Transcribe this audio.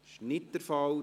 Das ist nicht der Fall.